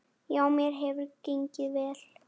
Já, mér hefur gengið vel.